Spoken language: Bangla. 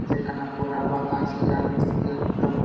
সেখানে পোরা আছে | ইহা --